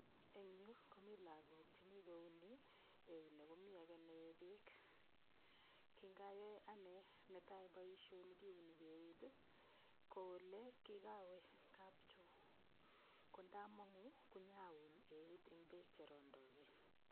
Eng yu komi lagok chemi kouni eunek. Mi age nee beek. Kingayoe anne netai boisioni kiuni eut ii ko kigawe kapcho kondamangu inyaun eut eng beek che rondogee.